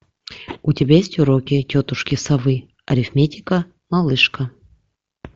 у тебя есть уроки тетушки совы арифметика малышка